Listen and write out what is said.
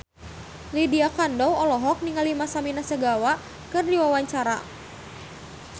Lydia Kandou olohok ningali Masami Nagasawa keur diwawancara